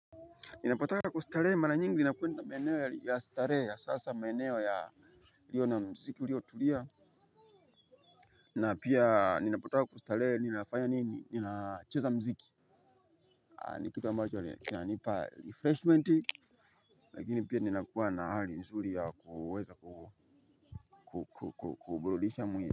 Ninapotaka kustarehe mara nyingi nakwenda maeneo ya starehe ya sasa maeneo yaliyo na mziki uliotulia na pia ninapotaka kustarehe mimi nafanya nini, ninacheza mziki. Ni kitu ambacho kinanipa refreshment. Lakini pia ninakuwa na hali nzuri ya kuweza kuburudisha mwili.